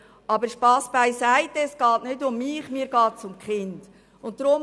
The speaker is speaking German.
Aber Spass beiseite, es geht mir nicht um mich, sondern um die Kinder.